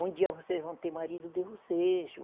Um dia vocês vão ter marido de vocês.